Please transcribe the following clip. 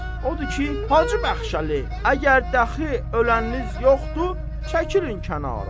Odur ki, Hacı Bəxşəli, əgər dəxi ölənniz yoxdur, çəkilin kənara.